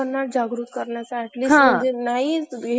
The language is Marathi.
आणि तू पण काळजी घेत जा कोमल .